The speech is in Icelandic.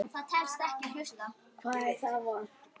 Hvar er það vont?